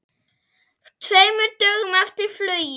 Tveimur dögum eftir flugið.